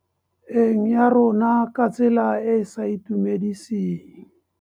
Eng ya rona ka tsela e e sa itumediseng.